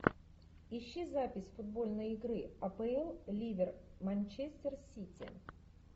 ищи запись футбольной игры апл ливер манчестер сити